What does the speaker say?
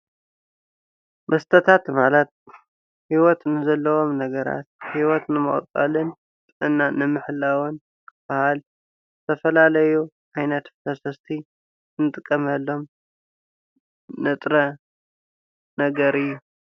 መስተታት ማለት ንሂወት ዘለዎም ነገራት ሂወት ንምቕጻልን እና ንምሕላውን ክበሃል ዝተፈላለዩ ዓይነት ፈሰስቲ ንጥቀመሎም ንጥረ ነገር እዩ።